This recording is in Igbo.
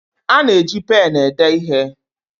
A na-eji pén ede ihe